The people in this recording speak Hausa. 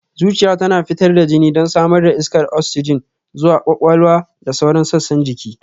Zuciya tana fitar da jini don samar da iskar oksijin zuwa kwakwalwa da sauran sassan jiki